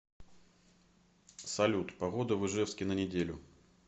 салют погода в ижевске на неделю